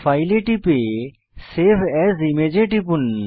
file এ টিপে save as image এ টিপুন